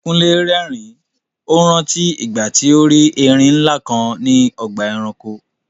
Kúnlé rẹ́rìn-ín, ó rántí ìgbà tí ó rí erin ńlá kan ní ọgbà ẹranko.